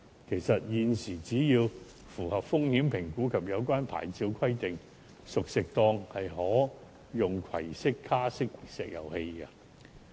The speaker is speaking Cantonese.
其實，現時熟食攤檔只要符合風險評估及有關牌照規定，便可使用可攜式卡式石油氣爐。